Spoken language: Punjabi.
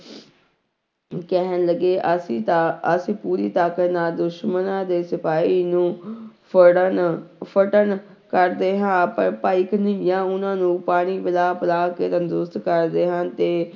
ਕਹਿਣ ਲੱਗੇ ਅਸੀਂ ਤਾਂ ਅਸੀਂ ਪੂਰੀ ਤਾਕਤ ਨਾਲ ਦੁਸ਼ਮਣਾਂ ਦੇ ਸਿਪਾਹੀ ਨੂੰ ਫੜਨ ਫਟਣ ਕਰਦੇ ਹਾਂ, ਪਰ ਭਾਈ ਕਨ੍ਹਈਆਂ ਉਹਨਾਂ ਨੂੰ ਪਾਣੀ ਪਿਲਾ ਪਿਲਾ ਕੇ ਤੰਦਰੁਸਤ ਕਰਦੇ ਹਨ ਤੇ